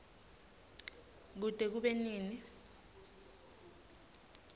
kute kube nini